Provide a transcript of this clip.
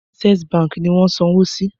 Access baǹkì ni wọ́n sanwó sí.